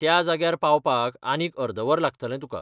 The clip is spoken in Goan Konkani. त्या जाग्यार पावपाक आनीक अर्द वर लागतलें तुका.